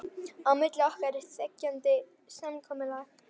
Á milli okkar er þegjandi samkomulag.